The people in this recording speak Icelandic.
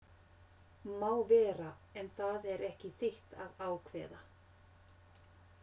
Má vera, en það er ekki þitt að ákveða